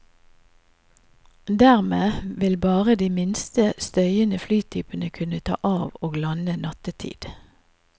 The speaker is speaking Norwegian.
Dermed vil bare de minst støyende flytypene kunne ta av og lande nattetid.